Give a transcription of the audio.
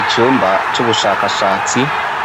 Icumba c'ubushakashatsi,